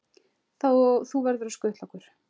Þú verður að skutla okkur.